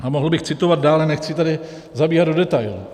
A mohl bych citovat dále, nechci tady zabíhat do detailů.